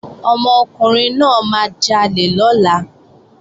Ọmọkùnrin náà máa jalè lọ́la